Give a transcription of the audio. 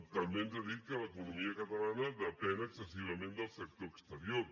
també ens ha dit que l’economia catalana depèn excessivament del sector exterior